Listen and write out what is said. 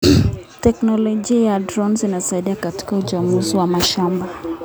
Teknolojia ya drones inasaidia katika uchambuzi wa mashamba.